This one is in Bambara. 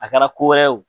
A kɛra ko wɛrɛ ye o